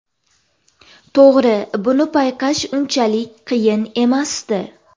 To‘g‘ri, buni payqash unchalik qiyin emasdi.